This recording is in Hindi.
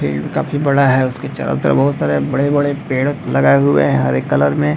फील्ड काफी बड़ा है उसके चारो तरफ बहोत सारे बड़े-बड़े पेड़ लगाए हुए हैं हरे कलर में।